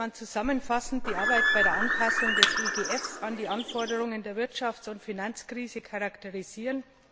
So könnte man zusammenfassend die Arbeit bei der Anpassung des EGF an die Anforderungen der Wirtschafts und Finanzkrise charakterisieren.